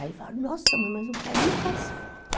Aí falam, nossa mãe, mas o pai nem faz falta.